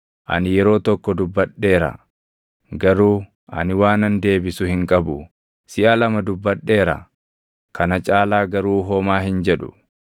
Ani yeroo tokko dubbadheera; garuu ani waanan deebisu hin qabu; siʼa lama dubbadheera; kana caalaa garuu homaa hin jedhu.”